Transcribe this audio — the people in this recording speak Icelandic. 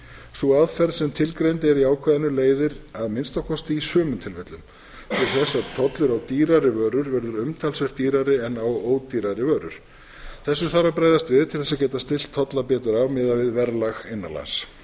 sú aðferð sem tilgreind er í ákvæðinu leiðir að minnsta kosti í sumum tilfellum til þess að tollur á dýrari vörur verður umtalsvert dýrari en á ódýrari vörur þessu þarf að bregðast við til þess að geta stillt tolla betur af miðað við verðlag innan lands með